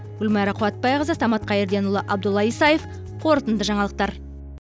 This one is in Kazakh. гүлмайра қуатбайқызы самат қайірденұлы абдулла исаев қорытынды жаңалықтар